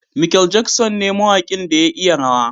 Mikel Jackson ne mawakin da ya iya rawa.